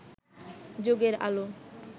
যুগের আলো